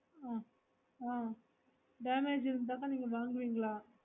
ஆஹ் ஆஹ் damage இருந்தாக நீங்க வாங்குவிங்கா